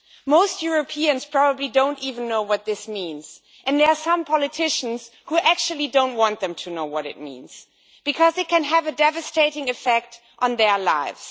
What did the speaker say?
Most Europeans probably don't even know what this means and there are some politicians who actually don't want them to know what it means, because they can have a devastating effect on their lives.